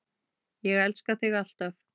Ég elska þig alltaf.